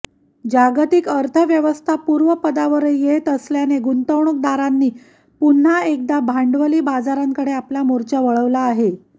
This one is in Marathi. जागतिक अर्थव्यवस्था पूर्वपदावर येत असल्याने गुंतवणूकदारांनी पुन्हा एकदा भांडवली बाजारांकडे आपला मोर्चा वळवला आहे